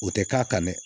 O tɛ k'a kan dɛ